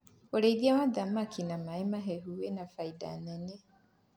ũrĩithi wa thamakĩ na maĩ mahehu wina baida nene